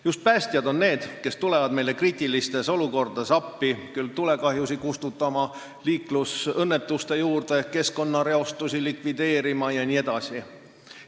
Just päästjad on need, kes tulevad meile kriitilistes olukordades appi – küll tulekahju kustutama, küll liiklusõnnetuse paika või keskkonnareostust likvideerima jne.